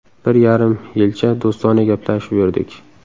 Bir yarim yilcha do‘stona gaplashib yurdik.